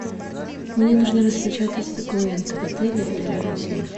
мне нужно распечатать документы в отеле или рядом с ним